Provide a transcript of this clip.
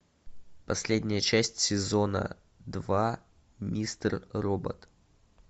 последняя часть сезона два мистер робот